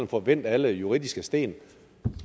får vendt alle juridiske sten